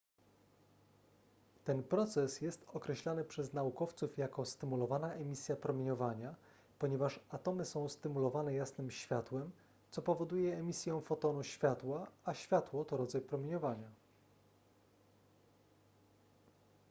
ten proces jest określany przez naukowców jako stymulowana emisja promieniowania ponieważ atomy są stymulowane jasnym światłem co powoduje emisję fotonu światła a światło to rodzaj promieniowania